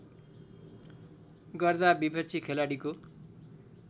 गर्दा विपक्षी खेलाडीको